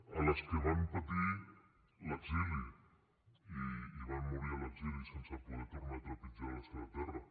a les que van patir l’exili i van morir a l’exili sense poder tornar a trepitjar la seva terra